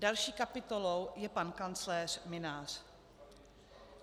Další kapitolou je pan kancléř Mynář.